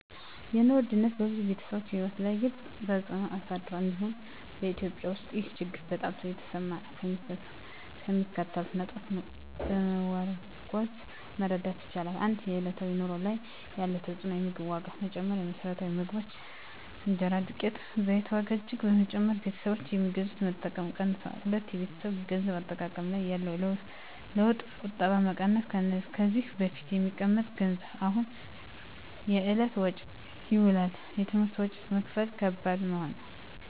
የኑሮ ውድነት በብዙ ቤተሰቦች ሕይወት ላይ ግልፅ ተፅዕኖ አሳድሯል፤ እንዲሁም በEthiopia ውስጥ ይህ ችግር በጣም የተሰማ ነው። ከሚከተሉት ነጥቦች በመመርኮዝ መረዳት ይቻላል፦ 1. በዕለታዊ ኑሮ ላይ ያለው ተፅዕኖ የምግብ ዋጋ መጨመር: የመሰረታዊ ምግቦች (እንጀራ፣ ዱቄት፣ ዘይት) ዋጋ እጅግ በመጨመር ቤተሰቦች የሚገዙትን መጠን ቀንሰዋል። 2. በቤተሰብ የገንዘብ አጠቃቀም ላይ ያለው ለውጥ ቁጠባ መቀነስ: ከዚህ በፊት የሚቀመጥ ገንዘብ አሁን ለዕለታዊ ወጪ ይውላል። የትምህርት ወጪ መክፈል ከባድ መሆን